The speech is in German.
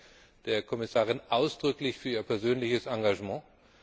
Ich danke der Kommissarin ausdrücklich für ihr persönliches Engagement.